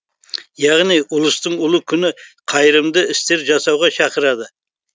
яғни ұлыстың ұлы күні қайырымды істер жасауға шақырады